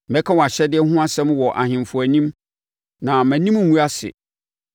Mɛka wʼahyɛdeɛ ho asɛm wɔ ahemfo anim na mʼanim rengu ase,